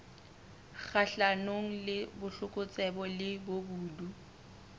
kgahlanong le botlokotsebe le bobodu